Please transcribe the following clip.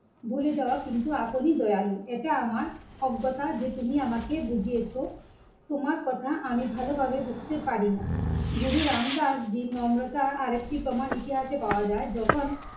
ভুলে যাওয়া কিন্তু আপনই দয়ালু. এটা আমার অজ্ঞতা যে তুমি আমাকে বুঝিয়েছো তোমার কথা আমি ভালোভাবে বুঝতে পারি না গুরু রাম দাস জীর নম্রতা আর একটি প্রমান ইতিহাসে পাওয়া যায় যখন